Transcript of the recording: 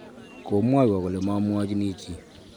Komwaiwo kole mamuachini chii